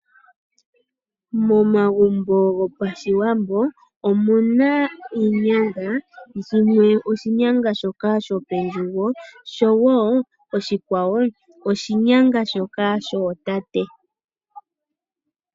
Momagumbo go Pashiwambo omuna iinyanga. Shimwe oshinyanga shoka sho pelugo oshowo oshikwawo oshinyanga shoka shootate.